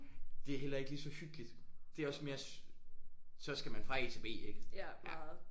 Det er heller ikke lige så hyggeligt det er også mere så skal man fra A til B ik ja